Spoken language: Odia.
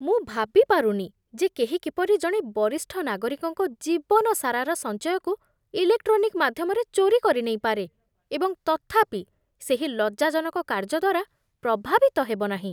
ମୁଁ ଭାବି ପାରୁନି ଯେ କେହି କିପରି ଜଣେ ବରିଷ୍ଠ ନାଗରିକଙ୍କ ଜୀବନ ସାରାର ସଞ୍ଚୟକୁ ଇଲେକ୍ଟ୍ରୋନିକ୍ ମାଧ୍ୟମରେ ଚୋରି କରିନେଇପାରେ, ଏବଂ ତଥାପି ସେହି ଲଜ୍ଜାଜନକ କାର୍ଯ୍ୟ ଦ୍ୱାରା ପ୍ରଭାବିତ ହେବ ନାହିଁ।